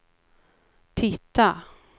titta